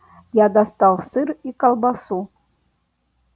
я достал сыр и колбасу